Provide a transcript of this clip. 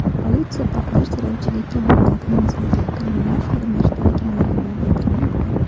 Politsiya portlash terrorchilikka bog‘liq emasligi, kriminal ko‘rinishda ekanligini bildirmoqda.